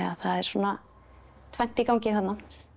það er svona tvennt í gangi þarna